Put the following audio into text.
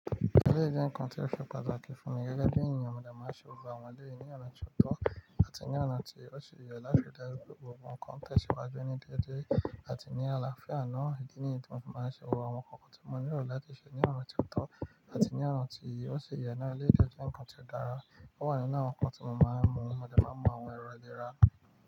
Eléyi jẹ nkan tí ó ṣe pàtàkì fún mi gẹ́gẹ́ bí ènìyàn, mo dà máa ń ṣe gbogbo àwọn eleyi ní ọ̀nà tó ọ̀tọ̀ àti ní ọ̀nà tí ó ṣe yẹ láti rí daju gbogbo ǹkan tẹ̀síwájú ní déédéé àti ní àlàáfíà náà, ìdí nìyí tí mo máa ń ṣe gbogbo àwọn nkankan tí mo ní lo lati ṣe ní ọ̀nà tó ọ̀tọ̀ àti ní ọ̀nà tí ó ṣi yẹ náà. Eléyi de jẹ́ ǹkan tí ó dára. Ó wà nínu àwon nkan tí mo máa ń mu, mo dà máa ń mu àwọn èrò lè ra.